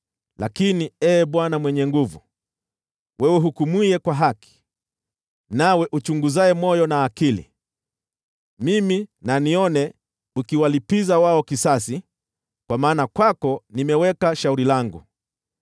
Lakini, Ee Bwana Mwenye Nguvu Zote, wewe uhukumuye kwa haki, nawe uchunguzaye moyo na akili, wacha nione ukiwalipiza wao kisasi, kwa maana kwako nimeweka shauri langu.